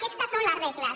aquestes són les regles